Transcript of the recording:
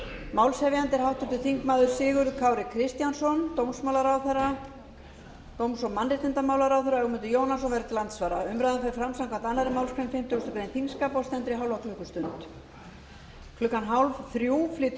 málshefjandi er háttvirtur þingmaður sigurður kári kristjánsson dóms og mannréttindaráðherra ögmundur jónasson verður til andsvara umræðan fer fram samkvæmt annarri málsgrein fimmtugustu grein þingskapa og stendur í hálfa klukkustund klukkan fjórtán þrjátíu flytur